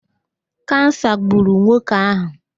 Kansa gburu nwoke ahụ